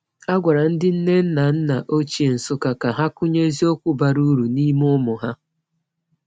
A gwara ndị nne na nna ochie Nsukka ka ha kụnye eziokwu bara uru n’ime ụmụ ha.